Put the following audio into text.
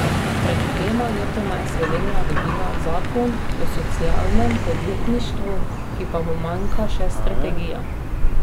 Pred dvema letoma je Slovenija dobila zakon o socialnem podjetništvu, ki pa mu manjka še strategija.